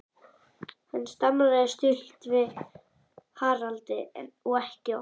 Hann staldraði stutt við hjá Haraldi og ekki oft.